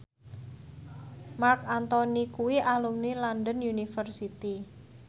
Marc Anthony kuwi alumni London University